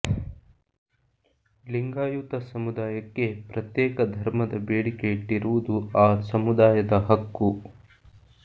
ಲಿಂಗಾಯತ ಸಮುದಾಯಕ್ಕೆ ಪ್ರತ್ಯೇಕ ಧರ್ಮದ ಬೇಡಿಕೆ ಇಟ್ಟಿರುವುದು ಆ ಸಮುದಾಯದ ಹಕ್ಕು